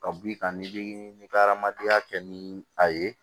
Ka b'i kan ni bi ka hadamadenya kɛ ni a ye